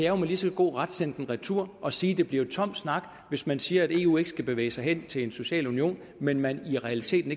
jo med lige så god ret sende den retur og sige at det bliver tom snak hvis man siger at eu ikke skal bevæge sig hen til en social union men men i realiteten